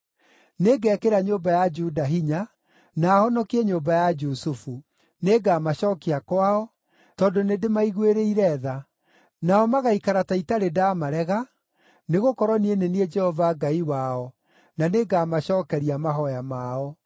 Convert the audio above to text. “Nĩngekĩra nyũmba ya Juda hinya, na honokie nyũmba ya Jusufu. Nĩngamacookia kwao, tondũ nĩndĩmaiguĩrĩire tha. Nao magaikara ta itarĩ ndaamarega, nĩgũkorwo niĩ nĩ niĩ Jehova Ngai wao, na nĩngamacookeria mahooya mao.